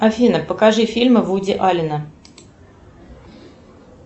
афина покажи фильмы вуди аллена